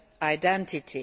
identity.